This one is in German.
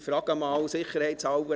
Ich frage einmal sicherheitshalber: